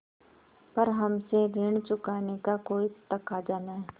पर हमसे ऋण चुकाने का कोई तकाजा न